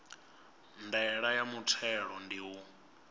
ndaela ya muthelo ndi u